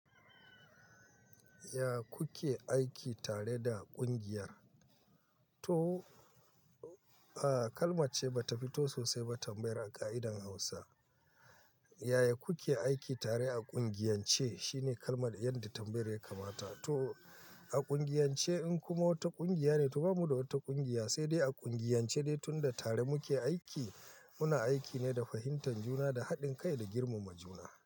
Ya kuke aiki tare da ƙungiyar? To, a kalma ce ba ta fito sosai ba tambayar a ƙa'idan Hausa. Yaya kuke aiki tare a ƙungiyance? Shine kalmar yadda tambayar ya kamata. To, a ƙungiyance in kuma wata ƙungiya ne, to bamu da wata ƙungiya, sai dai a ƙungiyance dai tunda tare muke aiki, muna aiki ne da fahimtar juna da haɗin kai da girmama juna.